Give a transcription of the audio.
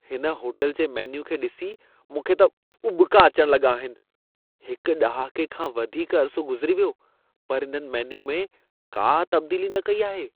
हिन होटल जे मेन्यू खे ॾिसी मूंखे त उॿिका अचण लॻा आहिनि। हिक ॾहाके खां वधीक अरिसो गुज़िरी वियो, पर इन्हनि मेन्यू में का तब्दीली न कई आहे।